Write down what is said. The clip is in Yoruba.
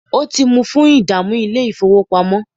o ti mu fun idamu ni ile-ifowopamọ.